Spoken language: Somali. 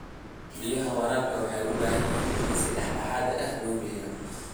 Biyaha waraabka waxay u baahan yihiin in si dhexdhexaad ah loo bixiyo.